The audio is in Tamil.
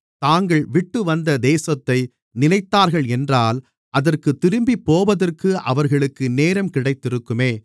தாங்கள் விட்டுவந்த தேசத்தை நினைத்தார்கள் என்றால் அதற்குத் திரும்பிப்போவதற்கு அவர்களுக்கு நேரம் கிடைத்திருக்குமே